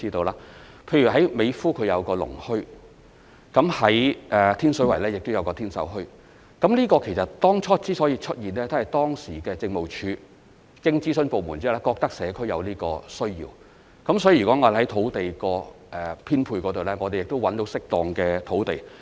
例如美孚有個農墟，天水圍亦有天秀墟，其實，這墟市當初所以會出現，是當時民政事務總署經諮詢相關部門後，認為社區有這個需要，所以，如果我們找到適當的土地作編配......